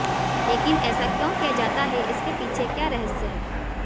लेकिन ऐसा क्यों किया जाता है इसके पीछे क्या रहस्य है